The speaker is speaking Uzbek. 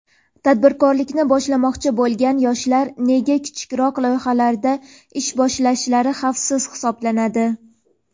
Tadbirkorlikni boshlamoqchi bo‘lgan yoshlar nega kichikroq loyihalardan ish boshlashlari xavfsiz hisoblanadi?.